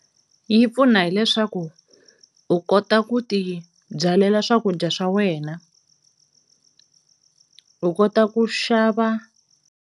Yi pfuna hileswaku u kota ku ti byalela swakudya swa wena, u kota ku xava.